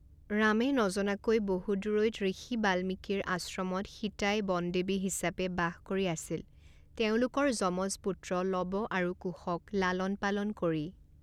ৰামে নজনাকৈ বহু দূৰৈত ঋষি বাল্মীকীৰ আশ্ৰমত সীতাই বনদেৱী হিচাপে বাস কৰি আছিল তেওঁলোকৰ যমজ পুত্ৰ লৱ আৰু কুশক লালন পালন কৰি।